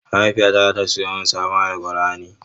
Mahaifiyata zata siyo min sabon Alqur'ani.